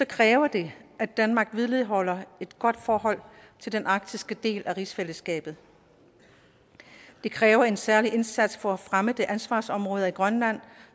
kræver det at danmark vedligeholder et godt forhold til den arktiske del af rigsfællesskabet det kræver en særlig indsats for at fremme de ansvarsområder i grønland